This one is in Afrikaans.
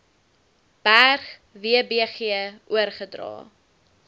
berg wbg oorgedra